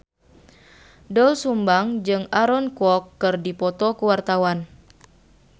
Doel Sumbang jeung Aaron Kwok keur dipoto ku wartawan